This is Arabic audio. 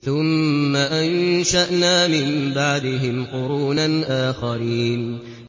ثُمَّ أَنشَأْنَا مِن بَعْدِهِمْ قُرُونًا آخَرِينَ